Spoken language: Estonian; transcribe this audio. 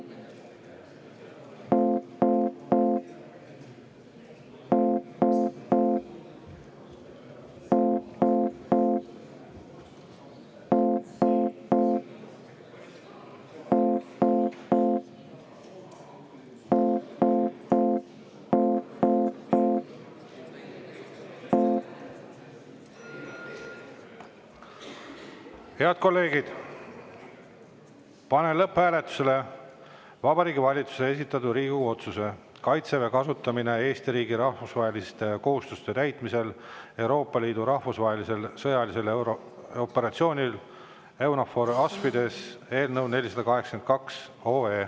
Head kolleegid, panen lõpphääletusele Vabariigi Valitsuse esitatud Riigikogu otsuse "Kaitseväe kasutamine Eesti riigi rahvusvaheliste kohustuste täitmisel Euroopa Liidu rahvusvahelisel sõjalisel operatsioonil EUNAVFOR Aspides" eelnõu 482.